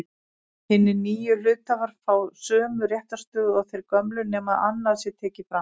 Hinir nýju hluthafar fá sömu réttarstöðu og þeir gömlu nema annað sé tekið fram.